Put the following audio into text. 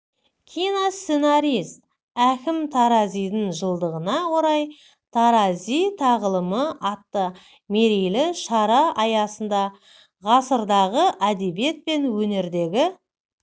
киносценарист әкім таразидің жылдығына орай тарази тағылымы атты мерейлі шара аясында ғасырдағы әдебиет пен өнердегі